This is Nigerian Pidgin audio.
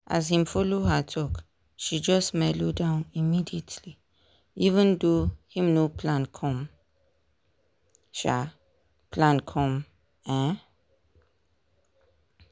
as him follow her talk she just melo down immediately even tho day him no plan come. um plan come. um